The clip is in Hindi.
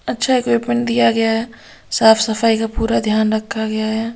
अच्छा इक्विपमेंट दिया गया है साफ सफाई का पूरा ध्यान रखा गया है फिर --